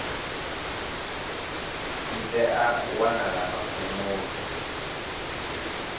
ḽi tea u wanala magumoni